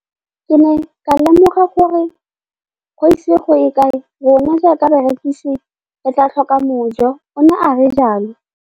Ke ne ka lemoga gore go ise go ye kae rona jaaka barekise re tla tlhoka mojo, o ne a re jalo.